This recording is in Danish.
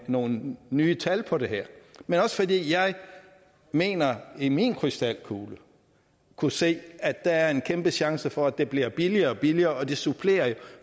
nogle nye tal på det her men også fordi jeg mener i min krystalkugle at kunne se at der er en kæmpe chance for at det bliver billigere og billigere og det supplerer jo